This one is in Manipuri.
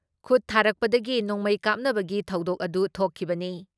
ꯈꯨꯠ ꯊꯥꯔꯛꯄꯗꯒꯤ ꯅꯣꯡꯃꯩ ꯀꯥꯞꯅꯕꯒꯤ ꯊꯧꯗꯣꯛ ꯑꯗꯨ ꯊꯣꯛꯈꯤꯕꯅꯤ ꯫